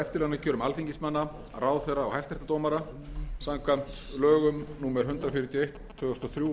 forseta íslands ráðherra alþingismanna og hæstaréttardómara lög númer hundrað fjörutíu og eitt tvö þúsund og þrjú